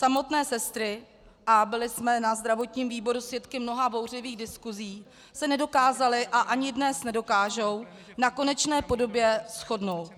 Samotné sestry, a byly jsme na zdravotním výboru svědky mnoha bouřlivých diskusí, se nedokázaly a ani dnes nedokážou na konečné podobě shodnout.